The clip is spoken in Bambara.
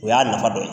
O y'a nafa dɔ ye